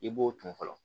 I b'o ton fɔlɔ